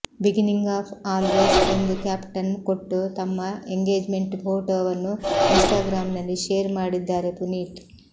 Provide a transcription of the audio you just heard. beginning of always ಎಂದು caption ಕೊಟ್ಟು ತಮ್ಮ ಎಂಗೇಜ್ಮೆಂಟ್ ಫೋಟೋವನ್ನು ಇನ್ಸ್ಟಾಗ್ರಾಂನಲ್ಲಿ ಶೇರ್ ಮಾಡಿದ್ದಾರೆ ಪುನೀತ್